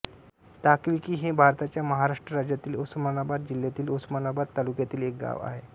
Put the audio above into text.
ताकविकी हे भारताच्या महाराष्ट्र राज्यातील उस्मानाबाद जिल्ह्यातील उस्मानाबाद तालुक्यातील एक गाव आहे